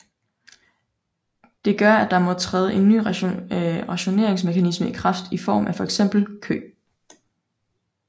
Det gør at der må træde en ny rationeringsmekanisme i kræft i form af for eksempel kø